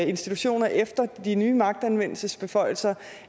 institutioner efter de nye magtanvendelsesbeføjelser